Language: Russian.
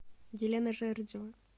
елена жердева